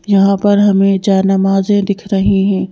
यहां पर हमें जा नमाज़े दिख रही हैं।